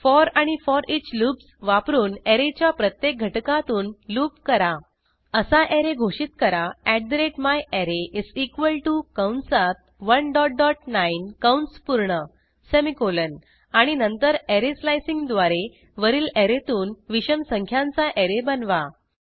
four आणि foreach loops वापरून ऍरेच्या प्रत्येक घटकातून लूप करा असा ऍरे घोषित करा myArray कंसात 19 कंस पूर्ण सेमिकोलॉन आणि नंतर ऍरे स्लाइसिंग द्वारे वरील ऍरेतून विषम संख्यांचा ऍरे बनवा